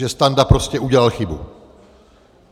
Že Standa prostě udělal chybu.